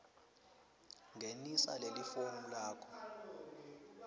ngenisa lifomu lakho